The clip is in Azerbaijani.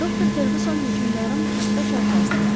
Doktor Ferqüson hökümdarın taxta çarpayısına yaxınlaşdı.